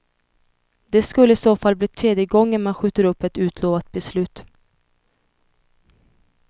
Det skulle i så fall bli tredje gången man skjuter upp ett utlovat beslut.